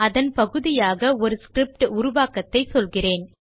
அதன் பகுதியாக ஒரு ஸ்கிரிப்ட் உருவாக்கத்தை சொல்கிறேன்